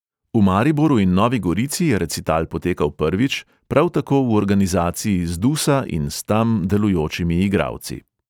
V mariboru in novi gorici je recital potekal prvič, prav tako v organizaciji zdusa in s tam delujočimi igralci.